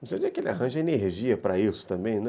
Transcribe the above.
Não sei onde é que ele arranja energia para isso também, né?